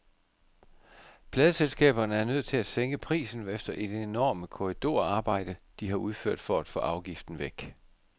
Pladeselskaberne er nødt til at sænke prisen efter det enorme korridorarbejde, de har udført for at få afgiften væk.